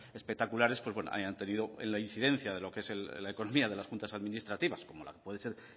espectaculares hayan tenido la incidencia de lo que es la economía de las juntas administrativas como puede ser